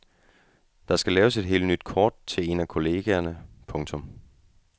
Der skal laves et helt nyt kort til en af kollegaerne. punktum